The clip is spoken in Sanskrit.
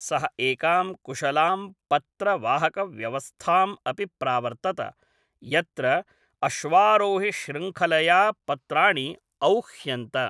सः एकां कुशलां पत्रवाहकव्यवस्थाम् अपि प्रावर्तत, यत्र अश्वारोहिशृङ्खलया पत्राणि औह्यन्त।